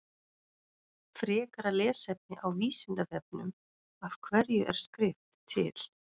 Frekara lesefni á Vísindavefnum Af hverju er skrift til?